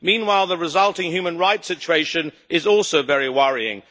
Meanwhile, the resulting human rights situation is also very worrying.